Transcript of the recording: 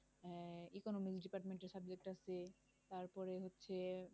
আহ economics department এর subject আছে তারপরে হচ্ছে